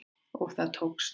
Og það tókst